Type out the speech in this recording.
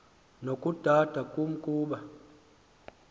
nokudada kum kuba